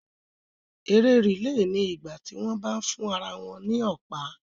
Eré rìlè ni ìgbà tí wọ́n bá ń fún ara wọn ní Ọ̀pá